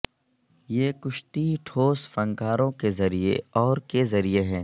یہ کشتی ٹھوس فنکاروں کے ذریعے اور کے ذریعے ہیں